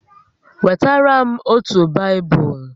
Wetara m otu Baịbụl!